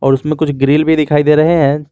उसमें कुछ ग्रिल भी दिखाई दे रहे हैं।